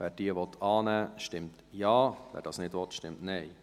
Wer diese annehmen will, stimmt Ja, wer dies nicht will, stimmt Nein.